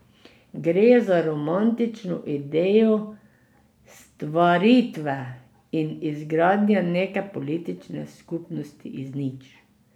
Gre za romantično idejo stvaritve in izgradnje neke politične skupnosti iz nič.